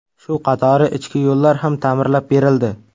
Shu qatori ichki yo‘llar ham ta’mirlab berildi.